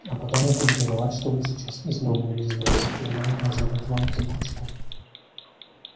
а потом я буду виноват что вы сейчас из дома улизнули и она не может дать вам взбучку